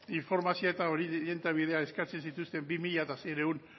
informazioa eta orientabidea eskatzen zituzten bi mila seiehun